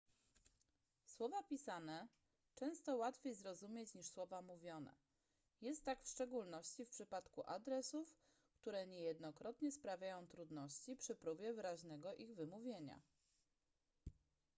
słowa pisane często łatwiej zrozumieć niż słowa mówione jest tak w szczególności w przypadku adresów które niejednokrotnie sprawiają trudności przy próbie wyraźnego ich wymówienia